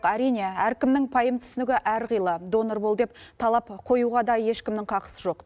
әрине әркімнің пайым түсінігі әрқилы донор бол деп талап қоюға да ешкімнің хақысы жоқ